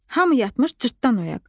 Hamı yatmış, cırtdan oyaq.